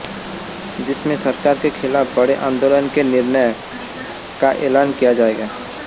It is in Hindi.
जिसमें सरकार के खिलाफ बड़े आन्दोलन के निर्णय का ऐलान किया जाएगा